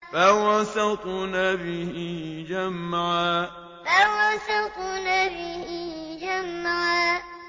فَوَسَطْنَ بِهِ جَمْعًا فَوَسَطْنَ بِهِ جَمْعًا